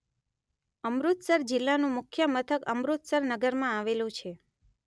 અમૃતસર જિલ્લાનું મુખ્ય મથક અમૃતસર નગરમાં આવેલું છે.